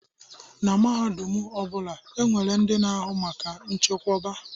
Na mahadum ọ bụla, e nwere ndị na-ahụ maka nchekwoba.